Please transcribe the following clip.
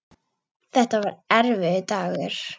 Þetta var erfiður dagur.